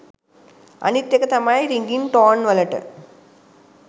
අනිත් එක තමයි රිඟින් ටෝන්වලට